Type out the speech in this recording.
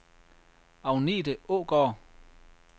Agnete Aagaard